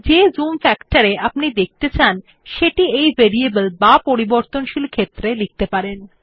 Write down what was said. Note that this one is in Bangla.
যে জুম ফ্যাক্টর এ আপনি ডকুমেন্ট দেখতে চান সেটি এই ভেরিয়েবল বা পরিবর্তনশীল ক্ষেত্রে লিখতে পারেন